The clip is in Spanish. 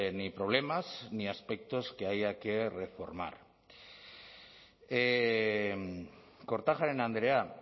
ni problemas ni aspectos que haya que reformar kortajarena andrea